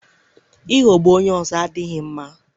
ịghọgbu onye ọzọ adịghị mma.